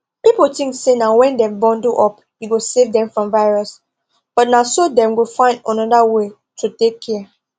people think say when dem bundle up e go save dem from virus but na so dem go find another way to take care